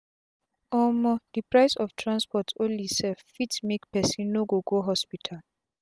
omo d price of transport onli sef fit make pesin no go hospital